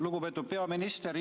Lugupeetud peaminister!